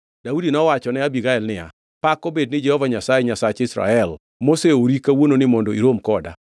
Daudi nowachone Abigael niya, “Pak obed ni Jehova Nyasaye, Nyasach Israel, moseori kawuononi mondo irom koda.